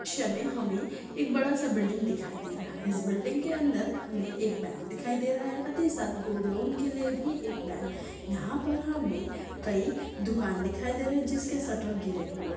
हमे एक बड़ा स बिल्डिंग दिखाई दे रहा है इस बिल्डिंग के आंदर हमे एक बैंक दिखाई दे रहा है साथ ही साथ गोल्ड-लोन के लिए भी एक बैंक दिखाई दे रहा है यहा पर हमे कई दुकान दिखाई दे रही है जिनके सट्टर गिरे हुए--